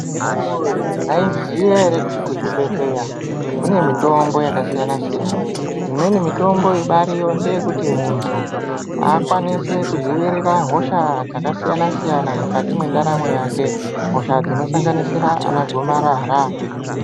Andani woye maizviziva here kuti kuzvibhedhlera kune mitombo yakasiyana-siyana imweni mitombo ibariyo ndeyekuti muntu akwanise kudzivirira hosha dzakasiyana siyana mukati mwendaramo yake hosha dzinosanganisira ana gomarara.